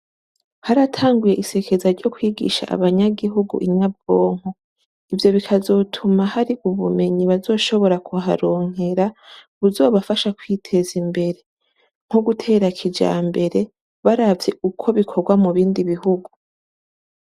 Haratanguye isekeza ryo kw'igisha abanyagihugu inyabwonko. Ivyo bikazotuma har'ubumenyi bazoshobora kuharonkera buzobafasha kw'iteza imbere, nko gutera kijambere baravye uko bikorwa mu bindi bihugu.